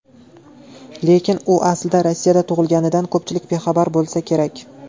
Lekin u aslida Rossiyada tug‘ilganidan ko‘pchilik bexabar bo‘lsa kerak.